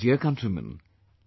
My dear countrymen,